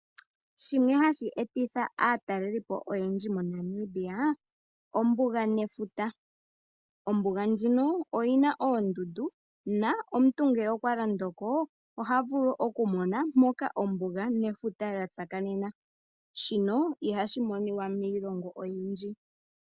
Shimwe hashi etitha aatalelipo oyendji moNamibia ombuga nefuta. Ombuga ndjino oyi na oondundu nomuntu ngele okwa londo ko oha vulu okumona mpoka ombuga nefuta lya tsakanena. Shino ihashi monika miilongo oyindji.